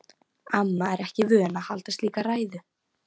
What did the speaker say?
Amma er ekki vön að halda slíka ræðu.